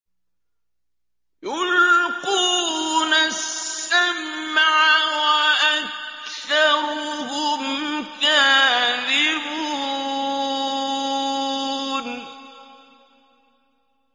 يُلْقُونَ السَّمْعَ وَأَكْثَرُهُمْ كَاذِبُونَ